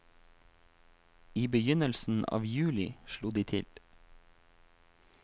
I begynnelsen av juli slo de til.